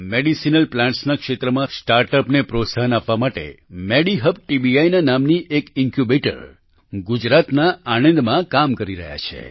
medicinal પ્લાન્ટના ક્ષેત્રમાં સ્ટાર્ટઅપને પ્રોત્સાહન આપવા માટે મેડિહબ ટીબીઆઇ ના નામથી એક ઈન્ક્યૂબેટર ગુજરાતના આણંદમાં કામ કરી રહ્યા છે